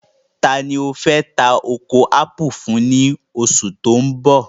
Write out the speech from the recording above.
Taani o fẹ́ tà oko ápù fún ní oṣù tí o n bọ̀?